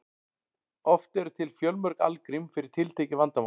oft eru til fjölmörg algrím fyrir tiltekið vandamál